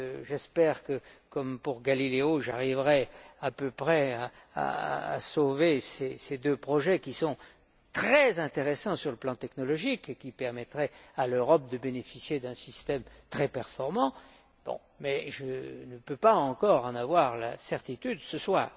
J'espère que, comme pour Galileo, j'arriverai à peu près à sauver ces deux projets qui sont très intéressants sur le plan technologique et qui permettrait à l'Europe de bénéficier d'un système très performant, mais je ne peux pas encore en avoir la certitude ce